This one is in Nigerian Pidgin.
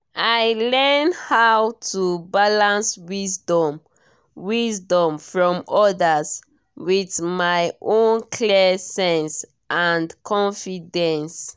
i learn how to balance wisdom wisdom from others with my own clear sense and confidence